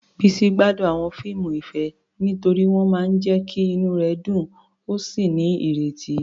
Bisi gbádùn àwọn fíìmù ìfẹ́ nítorí wọ́n máa ń jẹ́ kí inú rẹ̀ dùn ó sì ní ìrètí.